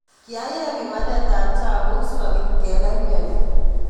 Kiaei bimanet ab chabuk sikopit kenai mnyeni.